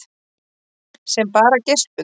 Sem bara geispuðu.